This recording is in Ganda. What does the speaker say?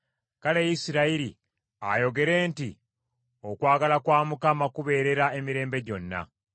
Kale Isirayiri ayogere nti, “Okwagala kwa Mukama kubeerera emirembe gyonna.”